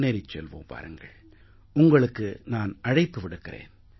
முன்னேறிச் செல்வோம் உங்களுக்கு நான் அழைப்பு விடுக்கிறேன்